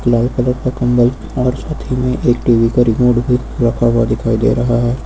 लाल colour का कंबल और साथ ही में एक टी_वी का रिमोट भी रखा हुआ दिखाई दे रहा है।